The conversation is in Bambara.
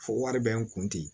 Fo wari bɛ n kun ten